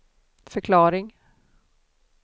förklaring